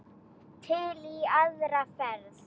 Til í aðra ferð.